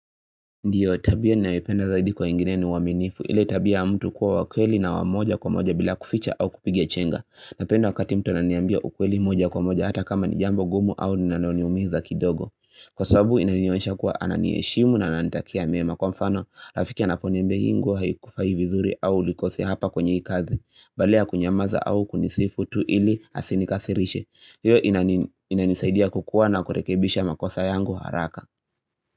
Ndiyo, tabia ninayopenda zaidi kwa wengine ni uaminifu. Ile tabia ya mtu kuwa wa kweli na wa moja kwa moja bila kuficha au kupigia chenga. Napenda wakati mtu ananiambia ukweli moja kwa moja hata kama ni jambo gumu au ninaloniumiza kidogo. Kwa sabu, inanionyesha kuwa ananiheshimu na ananitakia mema. Kwa mfano, rafiki anaponiambia hii nguo haikufai vizuri au ulikosea hapa kwenye hii kazi. Badala ya kunyamaza au kunisifu tu ili asinikasirishe. Hiyo inani inanisaidia kukuwa na kurekebisha makosa yangu haraka.